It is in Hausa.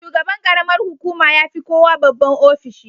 Shugaban ƙaramar hukuma ya fi kowa babban ofishi.